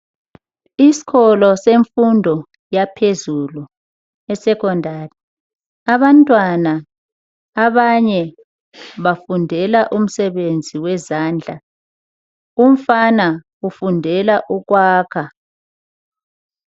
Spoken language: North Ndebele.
Isikolo semfundo yaphezulu esecondary, abantwana abanye bafundela umsebenzi wezandla umfana ufundela ukwakha.